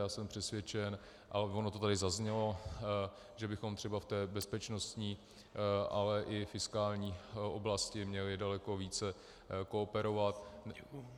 Já jsem přesvědčen, a ono to tady zaznělo, že bychom třeba v té bezpečností, ale i fiskální oblasti měli daleko více kooperovat.